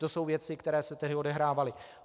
To jsou věci, které se tehdy odehrávaly.